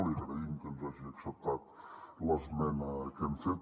li agraïm que ens hagi acceptat l’esmena que hem fet